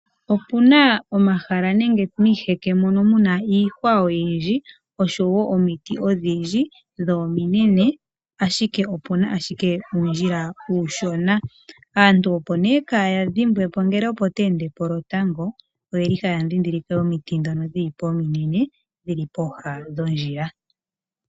Opu na omahala nenge miiheke mono mu na iihwa oyindji oshowo omiti odhindji, dho ominene, ashike opu na ashike uundjila uushona. Aantu opo nee kaya dhimbwepo ngele opo ta ende po lotango, oye li haya dhidhilike omiti dhono dhili po ominene dhi li pooha dhoondjila.